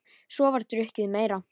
Svo var drukkið meira.